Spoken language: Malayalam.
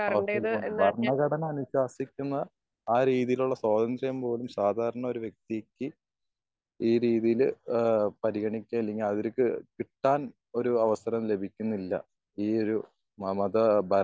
അതെ അതെ അതെ. ഭരണ ഘടന അനുഷാസിക്കുന്ന ആ രീതികൾ സ്വാതന്ത്ര്യം പോലും സാധാരണ ഒരു വ്യക്തി ഈ രീതിയില് ഏഹ് പരിഗണിച്ച് അല്ലെങ്കി അവർക്ക് കിട്ടാൻ ഒരു അവസരവും ലഭിക്കുന്നില്ല. ഈ ഒരു നമ്മുടെ